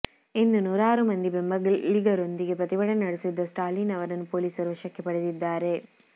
ಇಂದು ನೂರಾರು ಮಂದಿ ಬೆಂಬಲಿಗರೊಂದಿಗೆ ಪ್ರತಿಭಟನೆ ನಡೆಸುತ್ತಿದ್ದ ಸ್ಟಾಲಿನ್ ಅವರನ್ನು ಪೊಲೀಸರು ವಶಕ್ಕೆ ಪಡೆದಿದ್ದಾರೆ